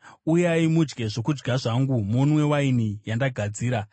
Uyai, mudye zvokudya zvangu munwe waini yandagadzira.